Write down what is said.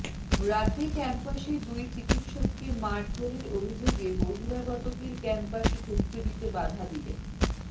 রাতে ক্যাম্পাসে দুই চিকিসককে মারধরের অভিযোগে বহিরাগতদের ক্যাম্পাসে ঢুকতে দিতে বাধা দিলেন